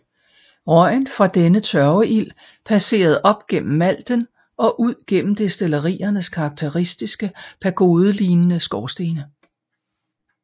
Røgen fra denne tørveild passerede op gennem malten og ud gennem destilleriernes karakteristiske pagodelignende skorstene